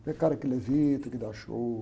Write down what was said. Não é cara que levita, que dá show.